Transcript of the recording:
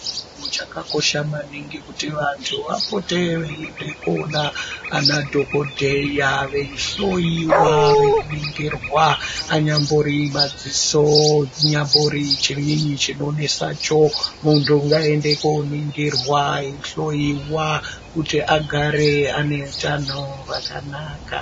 Kuchakakosha maningi kuti vantu vapote veiende koona ana dhokodheya veihloyiwa veiningirwa anyambori madziso chinyambori chinonesa muntu ngaende koningirwa eihloyiwa kuti agare ane utano hwakanaka.